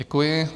Děkuji.